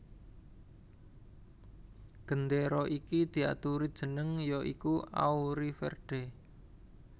Gendéra iki diaturi jeneng ya iku Auriverde